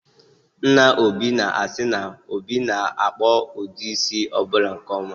Nna Obi na-asị na, Obi na-akpụ ụdị isi ọbụla nke ọma